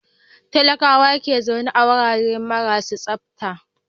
Talakawa ke zaune a wurare marasa tsafta.